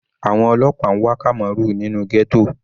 Àwọn ọlọ́pàá n wá Kamaru nínú ghetto.